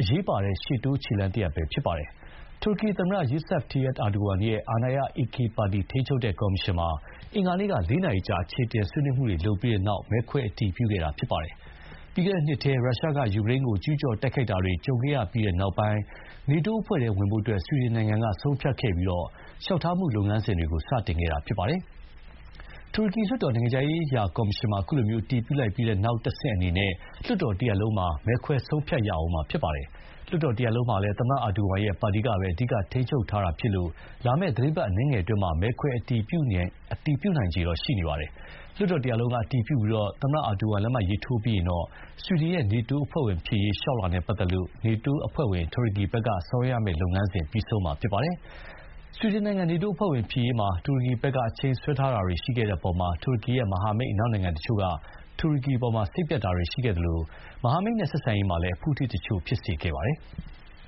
အရေးပါတဲ့ရှေ့တိုးခြေလှမ်းတရပ်ပဲ ဖြစ်ပါတယ်။ တူရကီသမ္မတ Recep Tayyip Erdogan ရဲ့ အာဏာရ AK ပါတီ ထိန်းချုပ်တဲ့ကော်မရှင်မှာ အင်္ဂါနေ့က ၄ နာရီကြာ အခြေအနေဆွေးနွေးမှုတွေ လုပ်ခဲ့ပြီးတဲ့နောက် မဲခွဲ အတည်ပြုလိုက်တာပါ။ ပြီးခဲ့တဲ့နှစ်ထဲ ရုရှားက ယူကရိန်းကို ကျူးကျော်တိုက်ခိုက်တာတွေကြုံခဲ့ရပြီးတဲ့နောက် နေတိုးအဖွဲ့ထဲဝင်ဖို့ ဆွီဒင်နိုင်ငံ ဆုံးဖြတ်ခဲ့ပြီး လျှောက်ထားမှုလုပ်ငန်းစဥ်တွေ စတင်ခဲ့တာလည်း ဖြစ်ပါတယ်။ တူရကီလွှတ်တော် နိုင်ငံခြားရေးရာကော်မရှင်မှာ ခုလို အတည်ပြုလိုက်ပြီးတဲ့နောက် နောက်တဆင့်အနေနဲ့ လွှတ်တော်တရပ်လုံးမှာ မဲခွဲဆုံးဖြတ်ရဦးမှာပါ။ လွှတ်တော်တရပ်လုံးမှာလည်း သမ္မတအာဒိုဝမ်ရဲ့ပါတီကပဲ အဓိက ထိန်းချုပ်ထားတာဖြစ်လို့ လာမယ့် သီတင်းပတ်အနည်းငယ်အတွင်း မဲခွဲ အတည်ပြုနိုင်ခြေ ရှိနေပါတယ်။ လွှတ်တော်တရပ်လုံးက အတည်ပြုပြီး သမ္မတအာဒိုဝမ် လက်မှတ်ထိုးပြီးရင်တော့ ဆွီဒင်ရဲ့ နေတိုးအဖွဲ့ဝင်ဖြစ်ရေး လျှောက်လွှာနဲ့ပတ်သက်လို့ နေတိုးအဖွဲ့ဝင် တူရကီဘက်က ဆောင်ရွက်ရမယ့်လုပ်ငန်းစဥ်ပြီးဆုံးမှာ ဖြစ်ပါတယ်။ ဆွီဒင်နိုင်ငံ နေတိုးအဖွဲ့ဝင်ဖြစ်ရေးမှာ တူရကီဘက်က အချိန်ဆွဲတာတွေရှိခဲ့တဲ့အပေါ် တူရကီရဲ့မဟာမိတ် အနောက်နိုင်ငံတချို့က တူရကီအပေါ် စိတ်ပျက်တာတွေရှိခဲ့သလို နောက်မဟာမိတ်တွေနဲ့ ဆက်ဆံရေးမှာ အဖုအထစ်တချို့လည်း ဖြစ်စေခဲ့ပါတယ်။